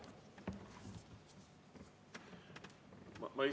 Siis on teie aeg läbi.